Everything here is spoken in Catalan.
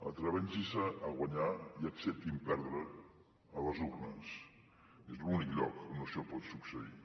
atreveixin se a guanyar i acceptin perdre a les urnes és l’únic lloc on això pot succeir